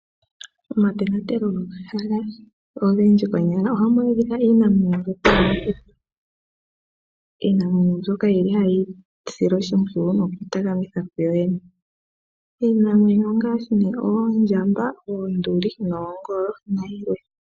Momatonatelo gomahala ogendji konyala ohamu adhika iinamwenyo mbyoka yomokuti. Iinamwenyo mbyoka oyili hayi silwa oshimpwiyu nokutalaleka kuyooyene. Iinamwenyo ongaashi ne, oondjamba, oonduli, oongolo, nayilwe.